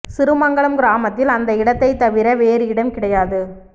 சிறுமங்கலம் கிராமத்தில் அந்த இடத்தை தவிர வேறு இடம் கிடையாது